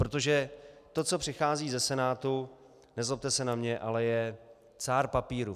Protože to, co přichází ze Senátu, nezlobte se na mě, ale je cár papíru.